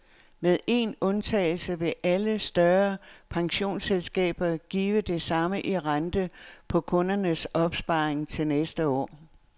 Med én eneste undtagelse vil alle større pensionsselskaber give det samme i rente på kundernes opsparing til næste år.